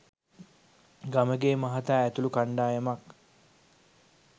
ගමගේ මහතා ඇතුළු කණ්ඩායමක්